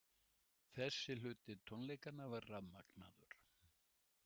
Þessi hluti tónleikanna var rafmagnaður.